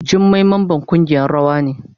Jummai mamban kungiyan rawa ne.